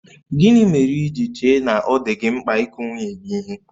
Gịnị mere i ji chee na ọ dị gị mkpa ịkụ nwunye gị ihe?